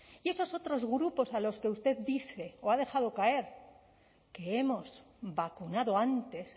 y esos otros grupos a los que usted dice o ha dejado caer que hemos vacunado antes